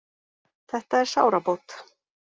Þetta er sárabót